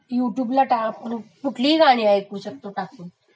you ट्यूवला टाक....कुठलिही गाणी ऐकी शकतो,